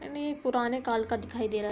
पता नहीं ये पुराने काल का दिखाई दे रहा --